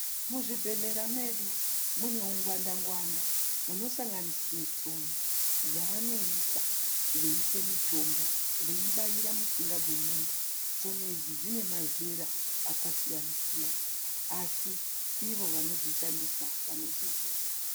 Muzvibhedhlera medu mune ungwanda-ngwanda unosanganisire tsono dzavanoisa veiise mitombo veibaira mitsinga dzomuntu. Tsono idzi dzine mazera akasiyana-siyana asi ivo vanodzishandisa vanodziziya.